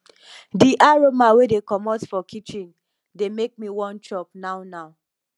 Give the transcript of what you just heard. di aroma wey dey komot for kitchen dey make me wan chop now now